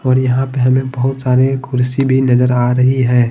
और यहां पे हमें बहुत सारे कुर्सी भी नजर आ रही है।